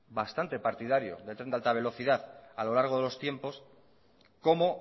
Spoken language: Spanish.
bastante partidario del tren de alta velocidad a lo largo de los tiempos cómo